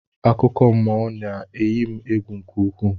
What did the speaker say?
Akụkọmmụọ na-eyi egwu nke ukwuu